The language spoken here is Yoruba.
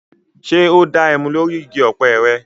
Ṣé o da ẹmu lórí igi ọ̀pẹ́ rẹ?